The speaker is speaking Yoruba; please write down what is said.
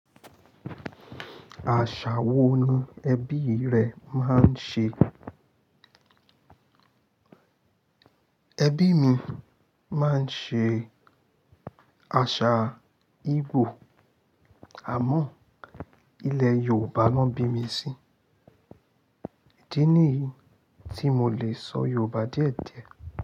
Àṣà wo ni ẹbí rẹ máa ń ṣe? Ẹbí mi máa ń ṣe àṣà Igbo àmọ́ ilẹ̀ Yorùbá ló bí mi sí. Ìdí ni yii tí mo le sọ Yorùbá díẹ̀díẹ̀.